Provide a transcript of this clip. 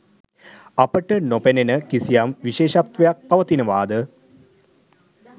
අපට නොපෙනෙන කිසියම් විශේෂත්වයක් පවතිනවා ද?